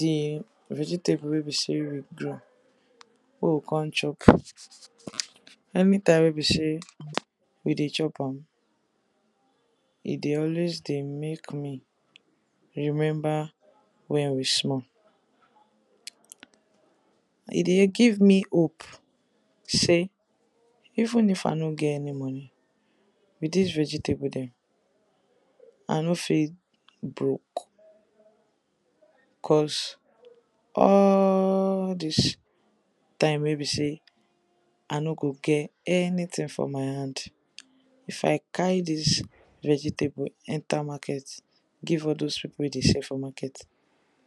Di vegetable wey be sey we grow wey we come chop, anytime wey be sey we dey chop am e dey always dey make me remember wen wey small, e dey give me hope sey even if I no get any money, with dis vegetable dem I no fit broke cos all dis time wey be sey I no go get anything for my hand if I carry all dis vegetable enter market give all dis people wey dey sell for market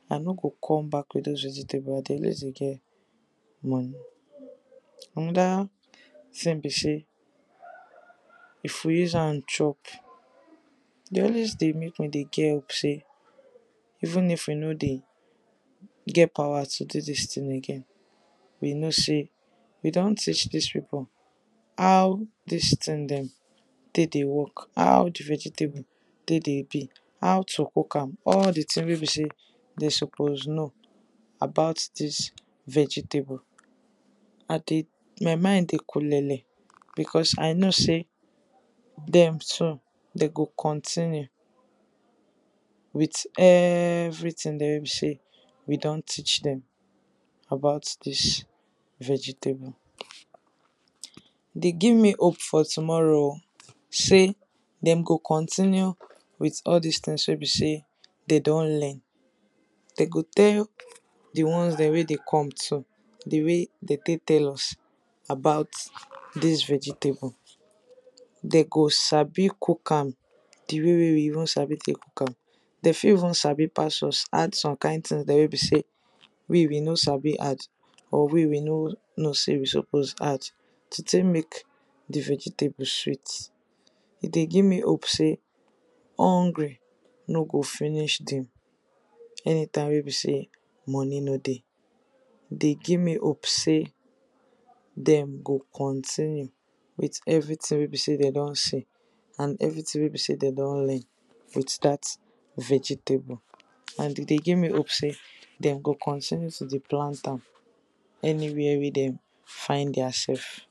I no go come back with doz vegetable, I dey always dey get money. Another thing be sey if we use am chop e dey always dey make me dey get hope sey even if we no dey get power to do dis thing again, we know sey we don teach dis people how dis thing dem take dey work, how di vegetable take dey be, how to cook am all di thing wey be sey dem suppose know about dis vegetable, my mind dey kulele because I know sey dem too dem go continue with everything wey be sey we don teach dem about dis vegetable. Dey give me hope for tomorrow oh, sey dem go continue with all dis thing dem wey be sey dem don learn, dem go tell di ones dem wey dey come too di way dem take tell us about dis vegetable, dem go sabi cook am di way wey we use sabi cook am, dem fit even sabi pass us, add some kind thing we be sey we we no sabi add, or we we no know sey we suppose add to take di vegetable sweet. E dey give me hope sey hungry no go finish dem, any time wey be sey money no dey. E dey give me hope sey dem go continue with everything wey be sey dem don see and with everything we be sey dem don learn with dat vegetable and e dey give hope sey dem go continue to dey plant am, anywhere wey dem find their self.